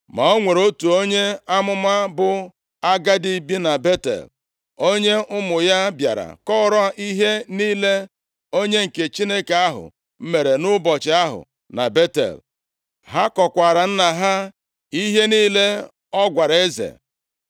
Ma o nwere otu onye amụma bụ agadi bi na Betel. Onye ụmụ ya bịara kọọrọ ihe niile onye nke Chineke ahụ mere nʼụbọchị ahụ na Betel, ha kọkwaara nna ha ihe niile ọ gwara eze.